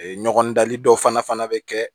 Ee ɲɔgɔn dali dɔw fana bɛ kɛ